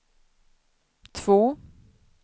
två